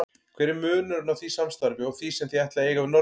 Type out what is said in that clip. Hver er munurinn á því samstarfi og því sem þið ætlið að eiga við Norðmenn?